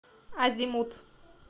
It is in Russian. азимут